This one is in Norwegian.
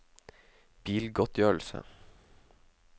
bilgodtgjørelse